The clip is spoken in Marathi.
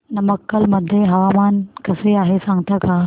नमक्कल मध्ये हवामान कसे आहे सांगता का